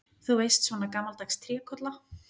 Þú veist, svona gamaldags trékolla.